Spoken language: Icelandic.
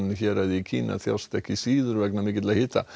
héraði í Kína þjást ekki síður vegna mikilla hita